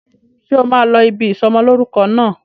Ṣé o máa lọ ibi ìsọ'mọlórúkọ náà?